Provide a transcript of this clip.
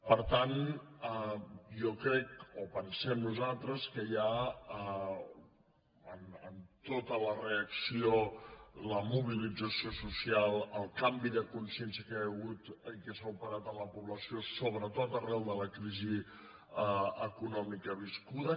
per tant jo crec o pensem nosaltres que hi ha en tota la reacció la mobilització social el canvi de consciència que hi ha hagut i que s’ha operat en la població sobretot arran de la crisi econòmica viscuda